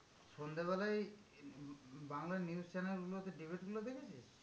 সন্ধ্যেবেলায় Bangla news channel গুলোতে debate গুলো দেখেছিস?